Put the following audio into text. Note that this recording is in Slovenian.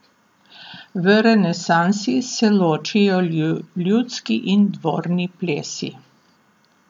V renesansi se ločijo ljudski in dvorni plesi.